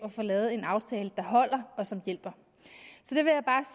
at få lavet en aftale der holder og som hjælper